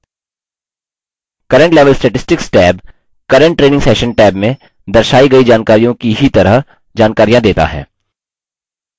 current level statistics tab current training session tab में दर्शायी गयी जानकारियों की ही तरह जानकारियाँ देता है